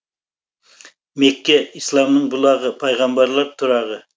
мекке исламның бұлағы пайғамбарлар тұрағы